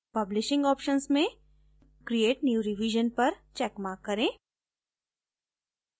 publishing options में create new revision पर checkmark करें